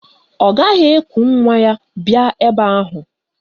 Ọ gaghị eku nwa ya bịa ebe ahụ